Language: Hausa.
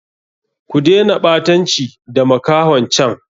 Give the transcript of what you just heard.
Ku dena ɓatanci da makahon can!